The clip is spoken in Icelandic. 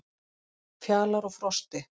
Fjalar og Frosti,